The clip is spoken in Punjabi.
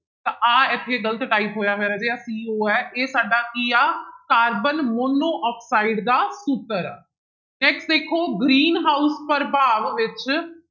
ਤਾਂ ਆਹ ਇੱਥੇ ਗ਼ਲਤ type ਹੋਇਆ ਹੋਇਆ ਰਾਜੇ ਆਹ CO ਹੈ ਇਹ ਸਾਡਾ ਕੀ ਆ ਕਾਰਬਨ ਮੋਨੋਆਕਸਾਇਡ ਦਾ ਸੂਤਰ ਆ next ਦੇਖੋ green house ਪ੍ਰਭਾਵ ਵਿੱਚ